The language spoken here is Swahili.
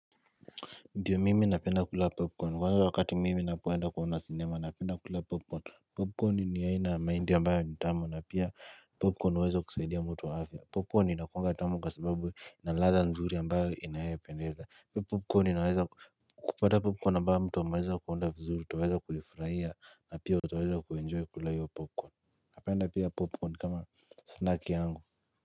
Ndiyo mimi napenda kula popcorn kwa wakati mimi napenda kuenda kuona sinema napenda kula popcorn Popcorn ni ya aina maindi ambayo ni tamu na pia popcorn uweza kusaidia mutu wa afya Popcorn inakuanga tamu kwa sababu inaladha nzuri ambayo inaependeza Popcorn inaweza kupata popcorn ambayo mtu ameweza kuunda vizuri tuweza kufrahia na pia utaweza kuenjoy kula hiyo popcorn Napenda pia popcorn kama snack yangu.